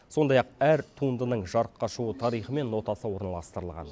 сондай ақ әр туындының жарыққа шығу тарихы мен нотасы орналастырылған